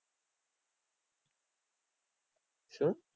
શું?